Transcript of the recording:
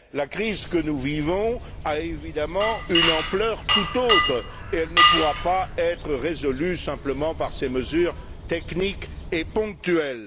La crise que nous vivons a évidemment une tout autre ampleur, et elle ne pourra pas être résolue simplement par ces mesures techniques et ponctuelles.